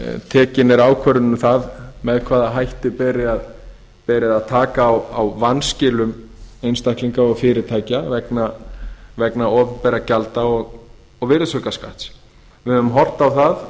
tekin er ákvörðun um það með hvaða hætti beri að taka á vanskilum einstaklinga og fyrirtækja vegna opinberra gjalda og virðisaukaskatts við höfum horft á það